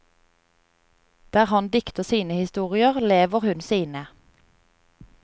Der han dikter sine historier, lever hun sine.